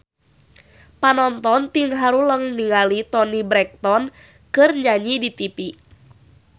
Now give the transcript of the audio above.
Panonton ting haruleng ningali Toni Brexton keur nyanyi di tipi